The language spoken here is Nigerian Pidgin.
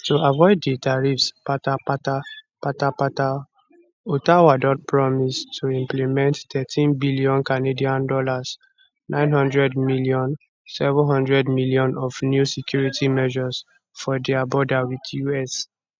to avoid di tariffs patapata patapata ottawa don promise to implement 13bn canadian dollars 900m 700m of new security measures for dia border wit us